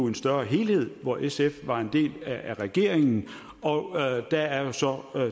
en større helhed hvor sf var en del af regeringen der er så